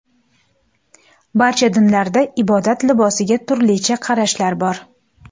Barcha dinlarda ibodat libosiga turlicha qarashlar bor.